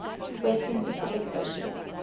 western pacific ocean